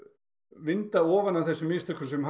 vinda ofan af þeim mistökum sem